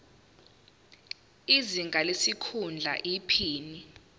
izinga lesikhundla iphini